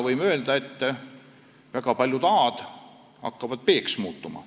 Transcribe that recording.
Võime öelda, et väga paljud A-d hakkavad B-ks muutuma.